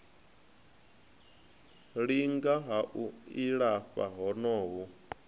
linga ha u ilafha honoho